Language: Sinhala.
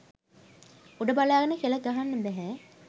උඩ බලාගෙන කෙළ ගහගන්න බැහැ